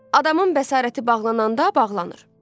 Adamın bəsarəti bağlananda bağlanır.